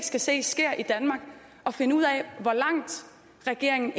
skal se sker i danmark at finde ud af hvor langt regeringen